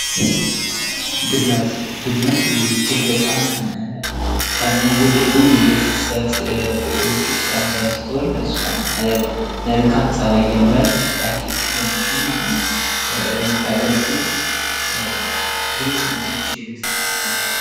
ድመት :-ድመት እጅግ በጣም ከሚወደዱ የቤት እንስሳቶች ውስጥ አነዷ ስትሆን እሷም መልካም ጸባይ ያላት አይጦችን በማደት የምታገለግል ብልጥ የሆነች የቤት እንስሳት ናት።